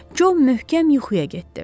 Co möhkəm yuxuya getdi.